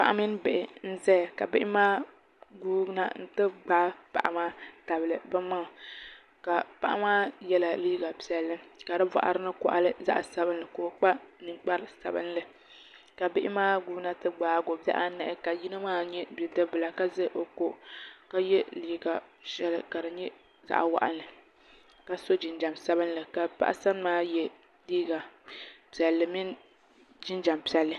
Paɣa mini bihi n ʒɛya ka bihi maa guuna n ti gbaai paɣa maa tabili bi maŋa paɣa maa yɛla liiga piɛlli ka di boɣari ni koɣali zaɣ sabinli ka o kpa ninkpari sabinli ka bihi maa guuna ti gbaagio bihi anahi ka yino maa nyɛ Bidib bila ka ʒɛ o ko ka yɛ liiga shɛli ka di nyɛ zaɣ waɣanli ka so jinjɛm sabinli ka paɣa sani maa yɛ liiga piɛlli mini jinjɛm piɛlli